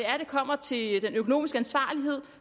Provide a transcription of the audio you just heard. kommer til den økonomiske ansvarlighed